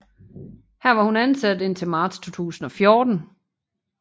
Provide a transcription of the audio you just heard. Her var hun ansat indtil marts 2014